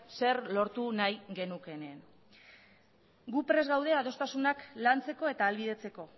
zer lortu nahi genukeen gu prest gaude adostasunak lantzeko eta ahalbidetzeko